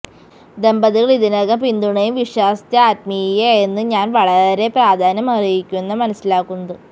ദമ്പതികൾ ഇതിനകം പിന്തുണയും വിശ്വാസ്യത ആത്മീയ എന്ന്ഞാൻ വളരെ പ്രാധാന്യമർഹിക്കുന്ന മനസിലാക്കുന്നത്